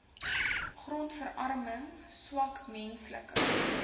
grondverarming swak menslike